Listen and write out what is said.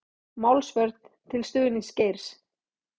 Málsvörn til stuðnings Geir